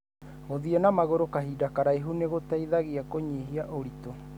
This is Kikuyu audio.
Guthiĩ na magũru kahinda karaihu nĩ gũteithagia kũnyihia ũritũ.